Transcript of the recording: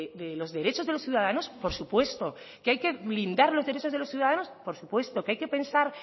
de los derechos de los ciudadanos por supuesto que hay que blindar los derechos de los ciudadanos por supuesto que hay que pensar